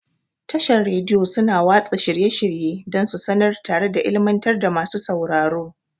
Tashar Radiyo suna watsa shirye-shirye dan su sanar tare da ilimantar da masu sauraro.